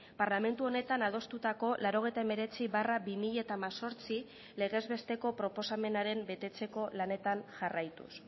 parlamentu honetan adostutako laurogeita hemeretzi barra bi mila hemezortzi legez besteko proposamenaren betetzeko lanetan jarraituz